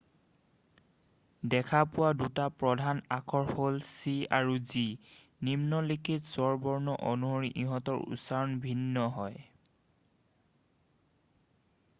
দেখা পোৱা দুটা প্ৰধান আখৰ হ'ল c আৰু g নিম্নলিখিত স্বৰবৰ্ণ অনুসৰি ইহঁতৰ উচ্চাৰণ ভিন্ন হয়